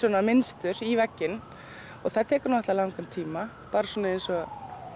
mynstur í vegginn það tekur náttúrulega langan tíma bara eins og